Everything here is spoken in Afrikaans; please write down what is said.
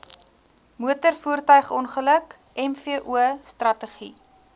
motorvoertuigongeluk mvo strategie